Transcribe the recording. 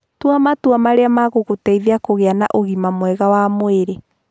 Tua matua marĩa megũgũteithia kũgĩa na ũgima mwega wa mwĩrĩ.